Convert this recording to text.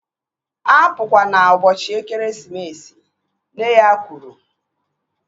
Apukwana ụbọchị ekeresimesi! Nne ya kwuru